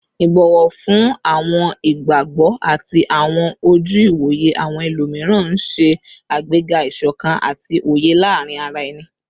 Ibọwọ fun awọn igbagbọ ati awọn oju-iwoye awọn ẹlomiran n ṣe agbega isokan ati oye laarin ara ẹni